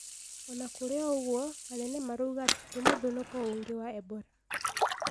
Ona kũrĩ ũguo, Anene marouga atĩ ti mũthũnũko ungĩ wa Ebora